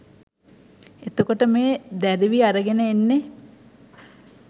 එතකොට මේ දැරිවි අරගෙන එන්නේ